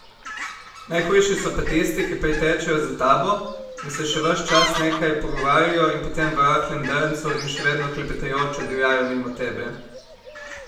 Najhujši so pa tisti, ki pritečejo za tabo in se ves čas nekaj pogovarjajo in potem v rahlem drncu in še vedno klepetajoč oddivjajo mimo tebe.